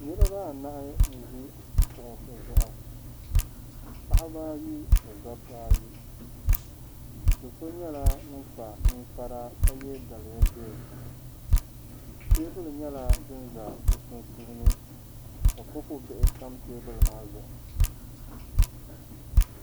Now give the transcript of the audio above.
Niriba anahi n-ʒi kuɣisi zuɣu. Paɣiba ayi ni dɔbba ayi. Do' so nyɛla ŋun kpa niŋkpara ka ye daliya ʒee. Teebuli nyɛla din za bɛ sunsuuni ka kopu bihi tam teebuli maa zuɣu.